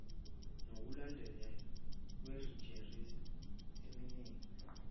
nokulondolozwa kwerejista enemininingo